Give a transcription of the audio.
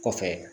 Kɔfɛ